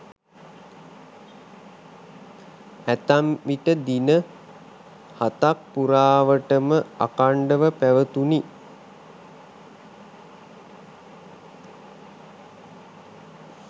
ඇතැම් විට දින හතක් පුරාවටම අඛණ්ඩව පැවතුණි.